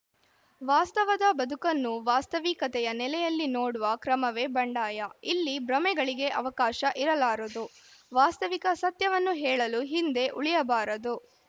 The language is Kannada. ವಾಸ್ತವದ ಬದುಕನ್ನು ವಾಸ್ತವಿಕತೆಯ ನೆಲೆಯಲ್ಲಿ ನೋಡುವ ಕ್ರಮವೇ ಬಂಡಾಯ ಇಲ್ಲಿ ಭ್ರಮೆಗಳಿಗೆ ಅವಕಾಶ ಇರಲಾರದು ವಾಸ್ತವಿಕ ಸತ್ಯವನ್ನು ಹೇಳಲು ಹಿಂದೆ ಉಳಿಯಬಾರದು